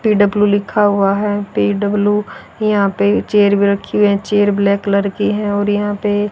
PW लिखा हुआ है। पी_डब्लू यहां पे चेयर भी रखी हुई है। चेयर ब्लैक कलर की है और यहां पे--